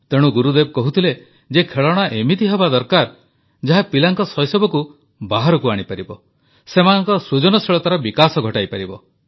ତେଣୁ ଗୁରୁଦେବ କହୁଥିଲେ ଯେ ଖେଳଣା ଏମିତି ହେବା ଦରକାର ଯାହା ପିଲାଙ୍କ ଶୈଶବକୁ ବାହାରକୁ ଆଣିପାରିବ ସେମାନଙ୍କ ସୃଜନଶୀଳତାର ବିକାଶ ଘଟାଇପାରିବ